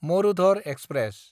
Marudhar express